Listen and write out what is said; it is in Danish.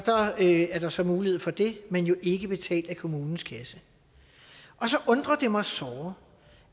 er der så mulighed for det men jo ikke betalt af kommunens kasse og så undrer det mig såre